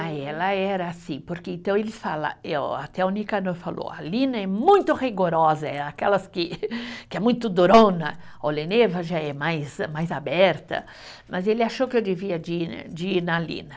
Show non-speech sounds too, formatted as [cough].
Ah, ela era sim, porque então eles fala, eh o, até o Nicanor falou, a Lina é muito rigorosa, é aquelas que, [laughs] que é muito durona, Oleneva já é mais, mais aberta, mas ele achou que eu devia de ir, de ir na Lina.